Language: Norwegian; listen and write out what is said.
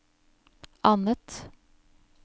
annet